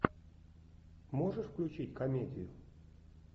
можешь включить комедию